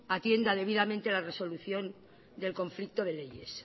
atienda debidamente la resolución del conflicto de leyes